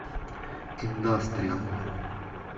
индастриал